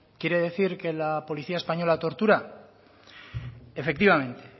quiere decir que la policía española tortura efectivamente